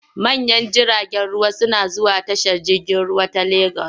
Manyan jiragen ruwa suna zuwa tashar jirgin ruwa ta Legas.